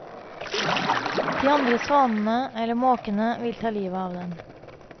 De andre svanene eller måkene vil ta livet av den.